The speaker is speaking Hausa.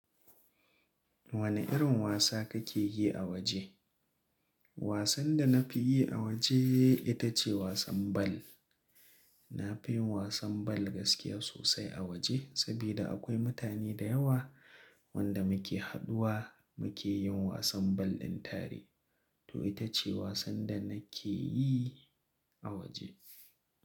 Wane irin wasa kake yi a waje? Wasan da na fi yi a waje ita ce wasan bal. Na fi yin wasan bal gaskiya sosai a waje, sabida akwai mutane da yawa wanda muke haduwa muke yin wasan bal ɗin tare. To ita ce wasan da na ke yi a waje.